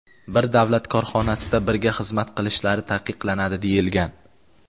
bir davlat korxonasida birga xizmat qilishlari taqiqlanadi deyilgan.